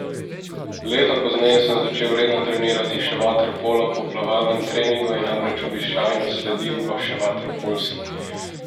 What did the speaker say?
Leto pozneje sem začel redno trenirati še vaterpolo, po plavalnem treningu je namreč običajno sledil še vaterpolski.